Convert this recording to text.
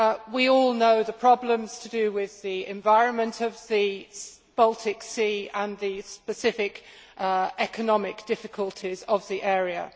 We all know the problems to do with the environment of the Baltic Sea and the specific economic difficulties of the area.